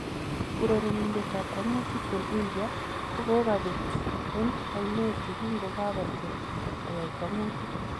Urerenindet ab kwang'utik en India kokabeet en ayneet yekingokakotyem koyai kwang'utik